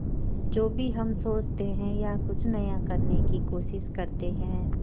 जो भी हम सोचते हैं या कुछ नया करने की कोशिश करते हैं